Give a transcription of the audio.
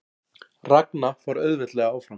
Ragna fór auðveldlega áfram